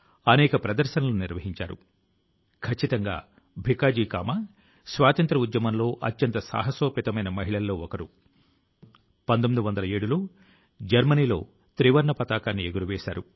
ప్రియమైన నా దేశవాసులారా మన్ కీ బాత్ మనసు లో మాట కార్యక్రమం లో ఇప్పుడు నేను మీకు చాలా దూరం నుంచి సరిహద్దులు దాటి వచ్చిన విషయాన్ని చెప్పబోతున్నాను